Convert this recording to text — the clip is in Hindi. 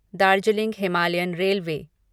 Darjeeling Himalayan railway